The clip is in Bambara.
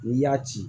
N'i y'a ci